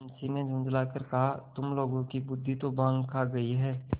मुंशी ने झुँझला कर कहातुम लोगों की बुद्वि तो भॉँग खा गयी है